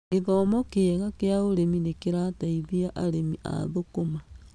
Gĩthomo kĩega kĩa ũrĩmi nĩ kĩrateithia arĩmi a thũkũma.